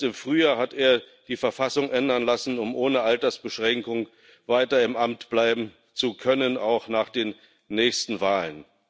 Erst im Frühjahr hat er die Verfassung ändern lassen, um ohne Altersbeschränkung weiter im Amt bleiben zu können, auch nach den nächsten Wahlen.